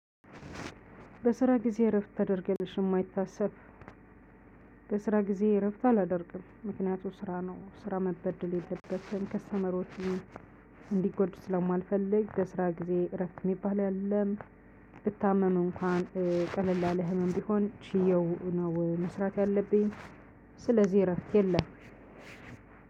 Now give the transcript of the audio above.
በስራ ጊዜ እረፍት ታደርጊያለሽ? የማይታሰብ በስራ ጊዜ እረፍት አላደርግም ምክንያቱም ስራ ነው ስራ መበደል የለበትም ከስተመሮችም እንዲጎዱ ስለማልፈልግ በስራ ጊዜ እረፍት የሚባል የለም ብታመመው እንኳን ቀለል አለ ህመም ቢሆን ቺየው ነው መስራት ያለብኝ ስለዚህ እረፍት የለም